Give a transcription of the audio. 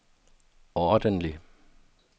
ordentlig